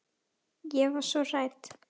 Ég var svo hrædd.